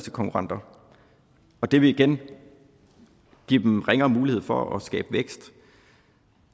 konkurrenter det vil igen give dem ringere mulighed for at skabe vækst